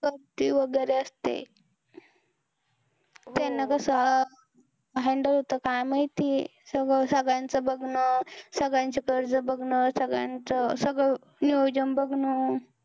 गर्दी वगैरे असते. त्यांना असं कसं handle होतं काय माहिती. सगळं सगळ्यांचं बघणं, सगळ्यांचे कर्ज बघणं, सगळ्यांचं सगळं नियोजन बघणं.